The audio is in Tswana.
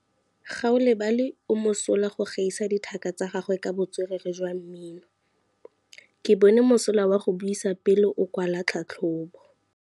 Gaolebalwe o mosola go gaisa dithaka tsa gagwe ka botswerere jwa mmino. Ke bone mosola wa go buisa pele o kwala tlhatlhobô.